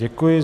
Děkuji.